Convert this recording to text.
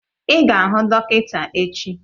Ị ga-ahụ dọkịta echi!